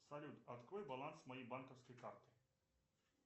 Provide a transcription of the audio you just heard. салют открой баланс моей банковской карты